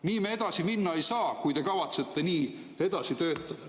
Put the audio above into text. Nii me edasi minna ei saa, kui te kavatsete nii edasi töötada.